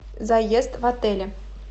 заезд в отеле